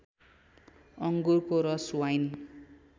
अङ्गुरको रस वाइन